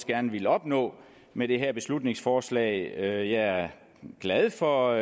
gerne vil opnå med det her beslutningsforslag jeg er glad for